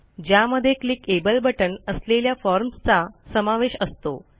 ज्यामध्ये click able बटण असलेल्या फॉर्म्सचा समावेश असतो